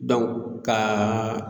ka